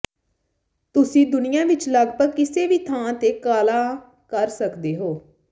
ਤੁਸੀਂ ਦੁਨੀਆ ਵਿੱਚ ਲਗਭਗ ਕਿਸੇ ਵੀ ਥਾਂ ਤੇ ਕਾਲਾਂ ਕਰ ਸਕਦੇ ਹੋ